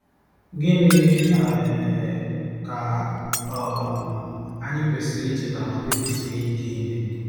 Gịnị um ka um anyị kwesịrị icheta ma kpebisie ike ime?